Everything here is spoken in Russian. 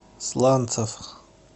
сланцев